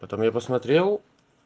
потом я посмотрел